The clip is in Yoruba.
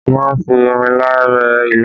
A má ń fi ìrinlá rẹ́ ilá